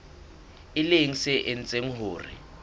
e leng se etsang hore